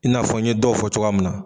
I'a fɔ n ye dɔw fɔ cogoya min na.